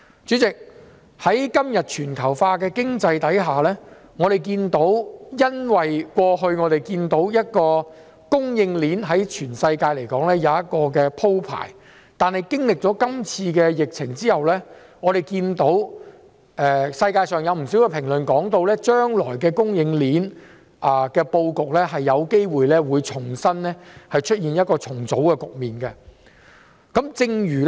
主席，在全球化的經濟環境下，我們過去看到供應鏈在全世界也有一個鋪排，但經歷今次疫情後，全球有不少評論指出，將來供應鏈的布局有機會進行重組。